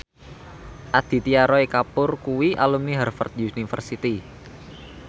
Aditya Roy Kapoor kuwi alumni Harvard university